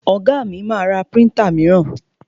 Ọ̀gá mi ma ra príntà míràn.